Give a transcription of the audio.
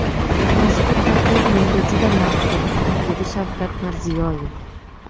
Mazkur taklif menga juda ma’qul”, – dedi Shavkat Mirziyoyev.